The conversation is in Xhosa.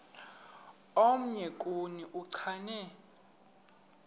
omnye kuni uchane